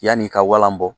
Yanni i ka walan bɔ